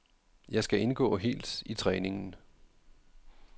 Jeg skal indgå helt i træningen.